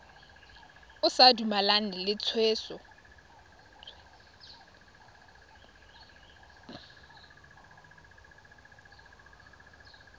o sa dumalane le tshwetso